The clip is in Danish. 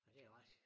Ja det er rask